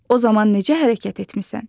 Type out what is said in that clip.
O zaman necə hərəkət etmisən?